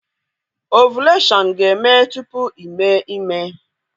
Ovuleshọn ga-eme tupu ime ime